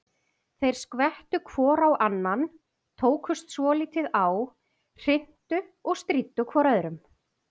Þeir skvettu hvor á annan, tókust svolítið á, hrintu og stríddu hvor öðrum.